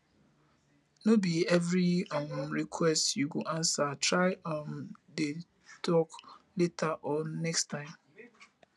no bi evri um request yu go ansa try um dey tok later or next time